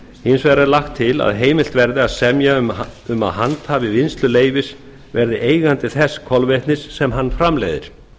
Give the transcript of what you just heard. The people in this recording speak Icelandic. hins vegar er lagt til að heimilt verði að semja um að handhafi vinnsluleyfis verði eigandi þess kolvetnis sem hann framleiðir